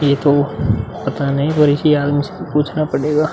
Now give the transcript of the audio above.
ये तो पता नहीं बल्कि ये आदमी से पूछना पड़ेगा।